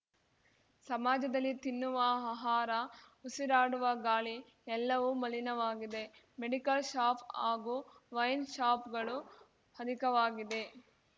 ಸಮಾಜದಲ್ಲಿ ತಿನ್ನುವ ಆಹಾರ ಉಸಿರಾಡುವ ಗಾಳಿ ಎಲ್ಲವೂ ಮಲಿನವಾಗಿದೆ ಮೆಡಿಕಲ್ ಷಾಪ್ ಹಾಗೂ ವೈನ್ ಷಾಪ್‌ಗಳು ಅಧಿಕವಾಗಿದೆ